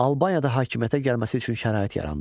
Albaniyada hakimiyyətə gəlməsi üçün şərait yarandı.